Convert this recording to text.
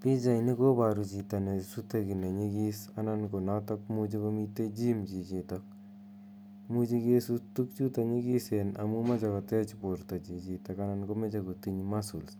Pichaini koparu chito ne sute ki ne nyikis anan ko notok imuchi komitei gym chichitok. Imuchi kesut tugchuta nyikisen amu mache kotech porto chichitok anan ko mache kotinh muscles